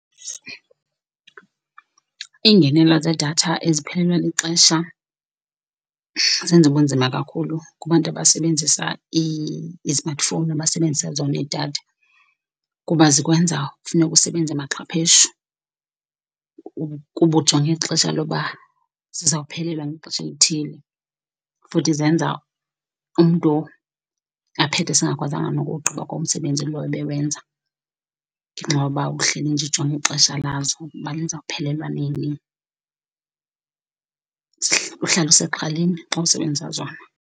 Ingenelo zedatha eziphelelwa lixesha zenza ubunzima kakhulu kubantu abasebenzisa izimatifowuni abasebenzisa zona iidatha kuba zikwenza funeka usebenze maxhapheshu, kuba ujonge xesha loba zizawuphelelwa ngexesha elithile futhi zenza umntu aphethe sengakwazanga nokuwugqiba kwa umsebenzi lowo ebewenza, ngenxa yoba uhleli nje ujonge ixesha lazo uba lizawuphelelwa nini uhlale usexhaleni xa usebenzisa zona.